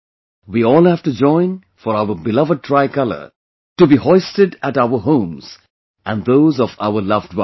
We all have to join for our beloved tricolor to be hoisted at our homes and those of our loved ones